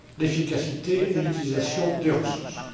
l'efficacité et l'utilisation des ressources.